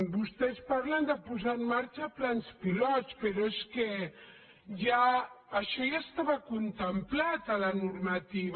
vostès parlen de posar en marxa plans pilot però és que això ja estava contemplat a la normativa